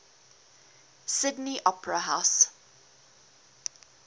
sydney opera house